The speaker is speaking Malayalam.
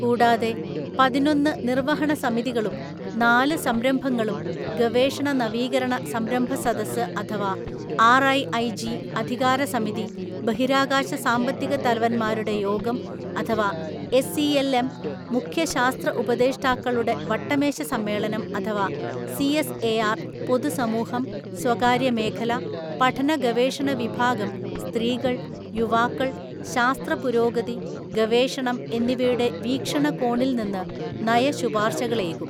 കൂടാതെ, പതിനൊന്നു നിർവഹണസമിതികളും നാല് സംരംഭങ്ങളും ഗവേഷണ നവീകരണ സംരംഭ സദസ് അഥവാ ആർഐഐജി, അധികാരസമിതി, ബഹിരാകാശ സാമ്പത്തിക തലവന്മാരുടെ യോഗം അഥവാ എസ്ഇഎൽഎം, മുഖ്യ ശാസ്ത്ര ഉപദേഷ്ടാക്കളുടെ വട്ടമേശസമ്മേളനം അഥവാ സിഎസ്എആർ പൊതുസമൂഹം, സ്വകാര്യ മേഖല, പഠന ഗവേഷണ വിഭാഗം, സ്ത്രീകൾ, യുവാക്കൾ, ശാസ്ത്രപുരോഗതി, ഗവേഷണം എന്നിവയുടെ വീക്ഷണകോണിൽനിന്നു നയശുപാർശകളേകും.